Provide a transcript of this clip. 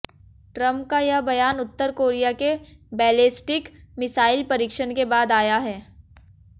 Trump का यह बयान उत्तर कोरिया के बैलेस्टिक मिसाइल परीक्षण के बाद आया है